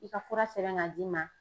I ka fura sɛbɛn ka d'i ma